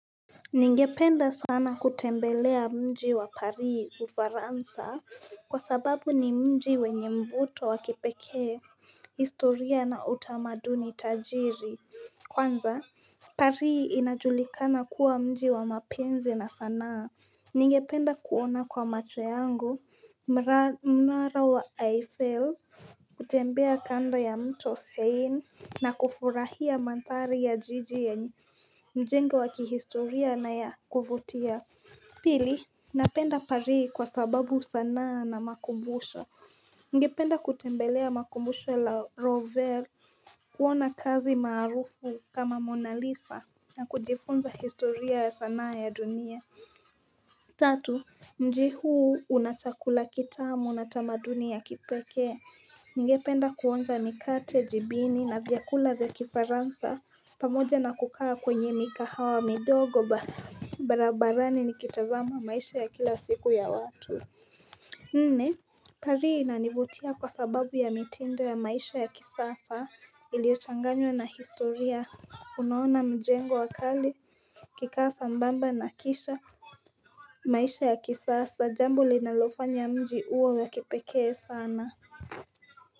Ningependa sana kutembelea mji wa Pari ufaransa kwa sababu ni mji wenye mvuto wa kipekee historia na utamaduni tajiri kwanza Pari inajulikana kuwa mji wa mapenzi na sanaa Ningependa kuona kwa macho yangu mnara wa Eiffel kutembea kando ya mto sein na kufurahia manthari ya jiji yenye mjengo wa kihistoria na ya kuvutia Pili Napenda pari kwa sababu sanaa na makumbusha Ningependa kutembelea makumbusho la Rovere kuona kazi maarufu kama MonaLisa na kujifunza historia ya sanaa ya dunia Tatu mji huu una chakula kitamu na tamaduni ya kipekee Ningependa kuonja mikate jibini na vyakula vya kifaransa pamoja na kukaa kwenye mikahawa midogo barabarani nikitazama maisha ya kila siku ya watu Nne pari inanivutia kwa sababu ya mitindo ya maisha ya kisasa iliochanganywa na historia Unaona mjengo wa kali ikikaa sambamba na kisha maisha ya kisasa jambo linalofanya mji uwe wa kipekee sana.